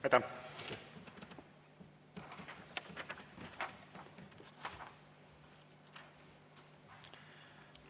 Aitäh!